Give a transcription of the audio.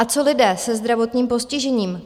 A co lidé se zdravotním postižením?